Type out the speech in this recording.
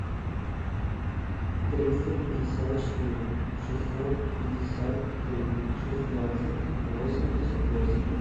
триста пятьдесят четыре шестьсот пятьдесят три шестнадцать восемьдесят восемь